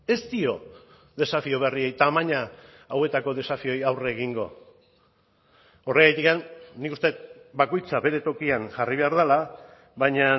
ez dio desafio berriei tamaina hauetako desafioei aurre egingo horregatik nik uste dut bakoitza bere tokian jarri behar dela baina